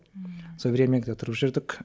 ммм сол времянкада тұрып жүрдік